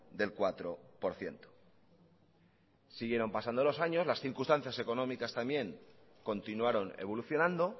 del cuatro por ciento siguieron pasando los años las circunstancias económicas también continuaron evolucionando